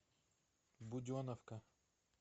буденовка